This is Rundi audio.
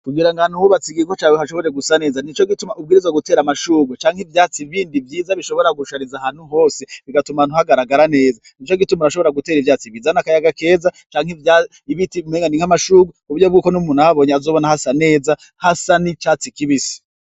Kugira nga ahantu wubatse igiko cawe hashobore gusa neza ni co gituma ubwirizwa gutera amashurwa canke ivyatsi bindi vyiza bishobora gushariza hanu hose bigatuma ahantu hagaragara neza ni co gituma urashobora gutera ivyatsi bizane akayaga keza canke ivyaibiti mwengani nk'amashurwa kuburyo bw'uko n'umuntu ahabonye azobona hasa neza hasa ni catsi kibisi.